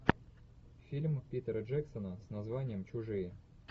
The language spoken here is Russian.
фильм питера джексона с названием чужие